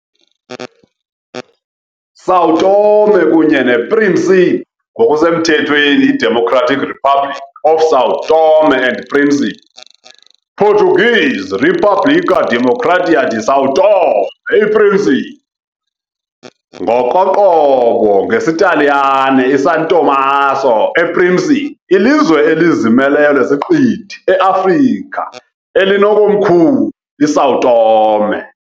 ISão Tomé kunye nePríncipe, ngokusemthethweni iDemocratic Republic of São Tomé and Príncipe, Portuguese "República Democrática de São Tomé e Príncipe", ngokoqobo ngesiTaliyane "iSan Tommaso e Principe", lilizwe elizimeleyo lesiqithi eAfrika elinekomkhulu iSão Tomé.